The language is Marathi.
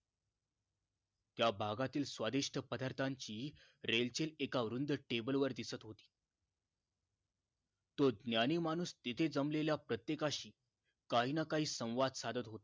त्या बागातील स्वादिस्ट पदार्थांची रेलचेल एका वृंद Table वर दिसत होती तो ज्ञानी माणूस तिथे जमलेल्या प्रतेकशी काहींना काही संवाद साधत होता